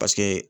Paseke